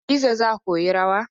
Hadiza za koyi rawar.